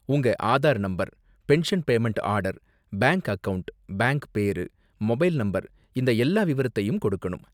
உங்க Aadhaar number, pension payment order, bank account, bank பேரு, mobile number இந்த எல்லா விவரத்தையும் கொடுக்கணும்.